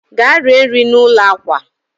gaa rie nri n'ụlọ akwa